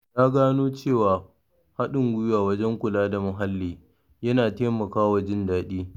Na gano cewa haɗin gwiwa wajen kula da muhalli yana taimakawa kowa jin daɗi.